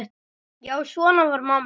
Já, svona var amma.